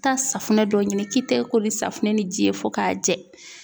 Taa safunɛ dɔ ɲini k'i tɛgɛ ko ni safunɛ ni ji ye fo ka jɛ.